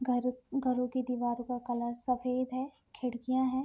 घर घरो की दीवारों का कलर सफेद है खिड़कियां है।